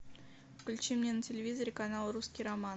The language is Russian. включи мне на телевизоре канал русский роман